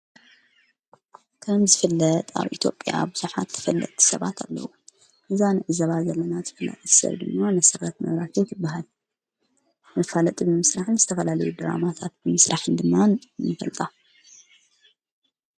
ካም ዝፍለጥ ኣው ኢትጵያ ብሠፋት ፍለቲ ሰባት ኣለዉ እዛንእዘባ ዘለናት ፍላእሠር ድኖ ነሠረት መይራክየትበሃል ንፋለጥ ብምሥላሕን ዝተፈላለዩ ደራማታት ምስራሕን ድማ ነፈልጣ።